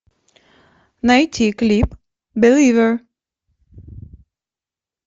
найти клип беливер